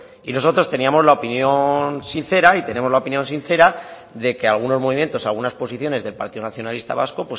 y nosotros teníamos la opinión sincera y tenemos la opinión sincera de que algunos movimientos algunas posiciones del partido nacionalista vasco